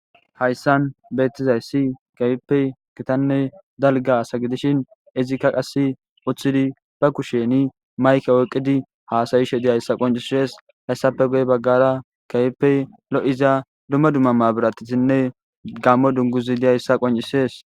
Hayssan beettizayssi kayippey gitanne dalga asa gidishin izikka qasi uththidi ba kusheni mayke oyqidi haasayishe diyayssa qoncisees hayssape goy baggara kayippey lo'iza dumma dumma ma biratisinne gammo dunguzi diyayssa qoncisees.